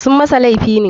Sunyi masa laifi ne.